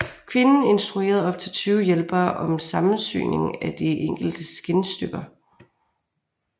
Kvinden instruerede op til tyve hjælpere om sammensyningen af de enkelte skindstykker